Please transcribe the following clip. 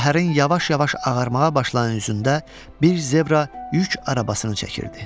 Səhərin yavaş-yavaş ağarmağa başlayan üzündə bir zebra yük arabasını çəkirdi.